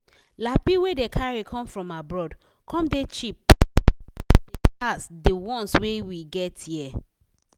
lappy wey dey carry come from abroad come dey cheap pass de pass de ones wey we get here.